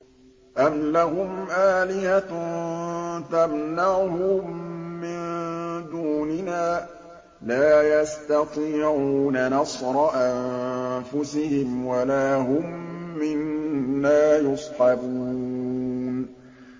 أَمْ لَهُمْ آلِهَةٌ تَمْنَعُهُم مِّن دُونِنَا ۚ لَا يَسْتَطِيعُونَ نَصْرَ أَنفُسِهِمْ وَلَا هُم مِّنَّا يُصْحَبُونَ